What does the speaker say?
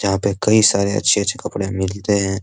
यहाँ पर कई सारे अच्छे-अच्छे कपड़े मिलते हैं।